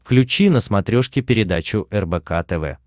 включи на смотрешке передачу рбк тв